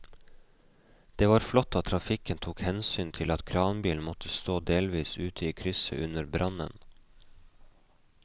Det var flott at trafikken tok hensyn til at kranbilen måtte stå delvis ute i krysset under brannen.